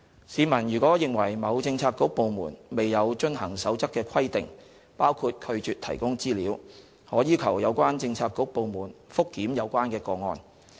市民如認為某政策局/部門未有遵行《守則》的規定包括拒絕提供資料，可要求有關政策局/部門覆檢有關個案。